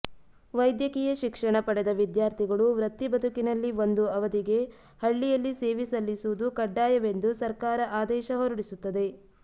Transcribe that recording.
ವೈದ್ಯಕೀಯ ಶಿಕ್ಷಣ ಪಡೆದ ವಿದ್ಯಾರ್ಥಿಗಳು ವೃತ್ತಿಬದುಕಿನಲ್ಲಿ ಒಂದು ಅವಧಿಗೆ ಹಳ್ಳಿಯಲ್ಲಿ ಸೇವೆ ಸಲ್ಲಿಸುವುದು ಕಡ್ಡಾಯವೆಂದು ಸರ್ಕಾರ ಆದೇಶ ಹೊರಡಿಸುತ್ತದೆ